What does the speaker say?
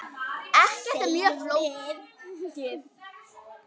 Ekkert mjög flókið.